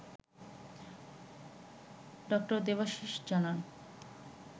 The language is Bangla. ডা. দেবাশীষ জানান